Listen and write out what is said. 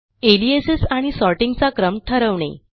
aliases आणि सॉर्टिंगचा क्रम ठरवणे